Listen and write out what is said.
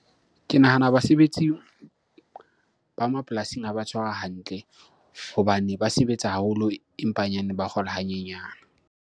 Ke nahana basebetsi ba mapolasing ha ba tshwarwa hantle hobane ba sebetsa haholo empa hanyane, ba kgola ha nyenyane.